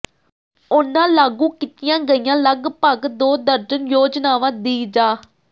ਉਨ੍ਹਾਂ ਲਾਗੂ ਕੀਤੀਆਂ ਗਈਆਂ ਲਗਪਗ ਦੋ ਦਰਜਨ ਯੋਜਨਾਵਾਂ ਦੀ ਜਾ